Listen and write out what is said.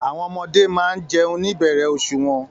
Àwọn ọmọdé máa ń jẹun ní ìbẹ̀rẹ̀ oṣù wọn